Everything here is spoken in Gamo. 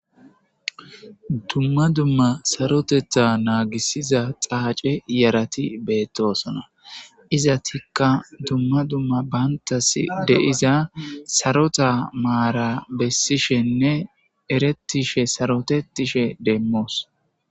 Dumma dumma sarotetha naagisiza xaace yerati beettosona iza tikka dumma dumma baantas deiza sarota maara bessishenne erettishe sarotetishe demmoos.